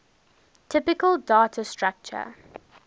typical data structure